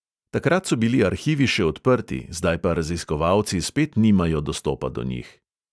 Takrat so bili arhivi še odprti, zdaj pa raziskovalci spet nimajo dostopa do njih.